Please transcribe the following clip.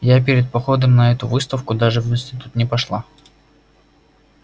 я перед походом на эту выставку даже в институт не пошла